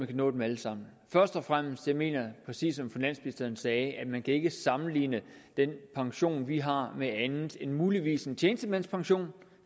kan nå dem alle sammen først og fremmest mener jeg præcis som finansministeren sagde at man ikke kan sammenligne den pension vi har med andet end muligvis en tjenestemandspension